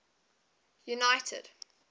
united